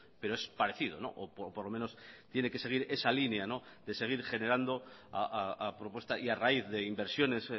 pero es parecido o por lo menos tiene que seguir esa línea de seguir generando a propuesta y a raíz de inversiones